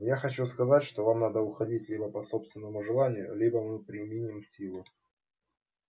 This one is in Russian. я хочу сказать что вам надо уходить либо по собственному желанию либо мы применим силу